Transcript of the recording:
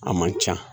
A man ca